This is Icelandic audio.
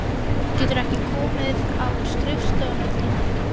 Geturðu ekki komið á skrifstofuna til mín?